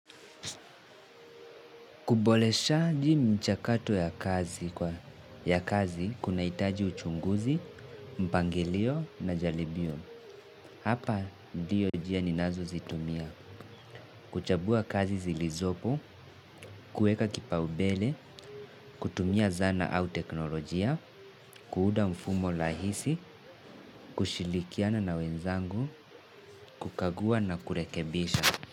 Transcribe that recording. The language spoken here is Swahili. Kuboreshaji mchakato ya kazi kwa ya kazi kunahitaji uchunguzi, mpangelio na jaribio. Hapa ndiyo njia ninazozitumia, kuchambua kazi zilizopo, kueka kipaumbele, kutumia zana au teknolojia, kuuda mfumo rahisi, kushirikiana na wenzangu, kukagua na kurekebisha.